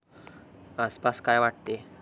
आपणास काय वाटते?